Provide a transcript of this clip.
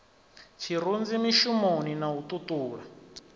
tshirunzi mishumoni na u ṱuṱula